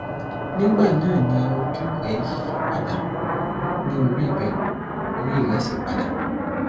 nigbana ni oju rẹ yiyi pada ni ori rẹ ori re si pada